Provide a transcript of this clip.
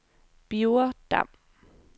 Birger Dam